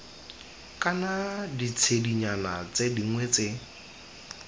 kana ditshedinyana tse dingwe tse